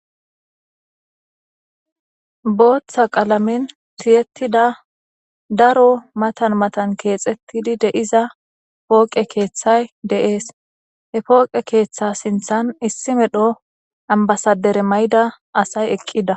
booththa qalamin tiyettida daro matan matan keexettidi de7iza pooqe keeththay deees he pooqe keeththa sinthan issi medho ambasadere may7ida asay eqqida